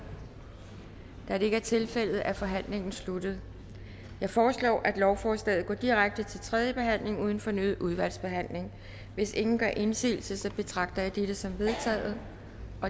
da det ikke er tilfældet er forhandlingen sluttet jeg foreslår at lovforslaget går direkte til tredje behandling uden fornyet udvalgsbehandling hvis ingen gør indsigelse betragter jeg dette som vedtaget